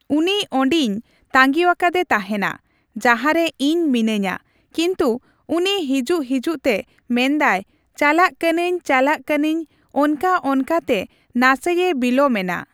ᱩᱱᱤ ᱚᱸᱰᱮᱧ ᱛᱟᱸᱜᱤᱣᱟᱠᱟᱫᱮ ᱛᱟᱦᱮᱸᱱᱟ, ᱡᱟᱦᱟᱸᱨᱮ ᱤᱧ ᱢᱤᱱᱟᱹᱧᱟ ᱾ ᱠᱤᱱᱛᱩ ᱩᱱᱤ ᱦᱤᱡᱩᱜ ᱦᱤᱡᱩᱜ ᱛᱮ ᱢᱮᱱᱫᱟᱭ ᱪᱟᱞᱟᱜ ᱠᱟᱹᱱᱟᱹᱧᱼᱪᱟᱞᱟᱜ ᱠᱟᱹᱱᱟᱧ ᱚᱱᱠᱟᱼᱚᱱᱠᱟ ᱛᱮ ᱱᱟᱥᱮ ᱮ ᱵᱤᱞᱳᱢᱮᱱᱟ ᱾